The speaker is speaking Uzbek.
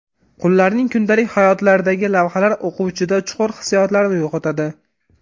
Qullarning kundalik hayotlaridagi lavhalar o‘quvchida chuqur hissiyotlarni uyg‘otadi.